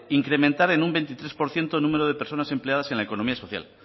incrementar en un veintitrés por ciento el número de personas empleados en la economía social